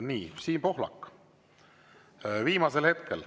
Nii, Siim Pohlak, viimasel hetkel.